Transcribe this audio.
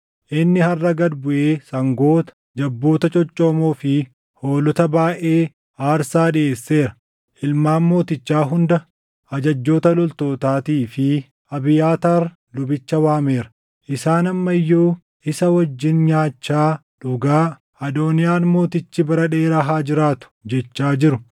Inni harʼa gad buʼee sangoota, jabboota coccoomoo fi hoolota baayʼee aarsaa dhiʼeesseera. Ilmaan mootichaa hunda, ajajjoota loltootaatii fi Abiyaataar lubicha waameera. Isaan amma iyyuu isa wajjin nyaachaa dhugaa, ‘Adooniyaan mootichi bara dheeraa haa jiraatu!’ jechaa jiru.